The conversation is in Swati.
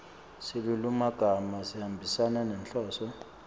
silulumagama sihambisana nenhloso